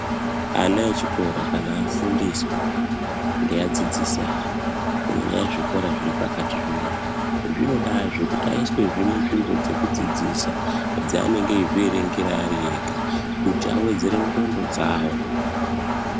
Ana echikora kana afundiswa ngeadzidzisi awo kunyanya zvikora zviri pakati zvinoizvi zvinodazve kuti aiswezve munzvimbo dzekudzidziswa dzaanenge eizvierengera ega kuti awedzere ndhlondo dzawo.